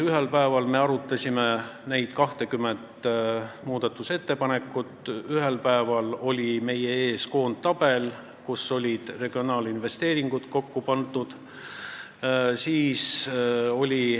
Ühel päeval me arutasime neid 20 muudatusettepanekut ja ühel päeval oli meie ees koondtabel, kuhu olid regionaalinvesteeringud kokku pandud.